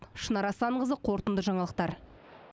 шынар асанқызы қорытынды жаңалықтар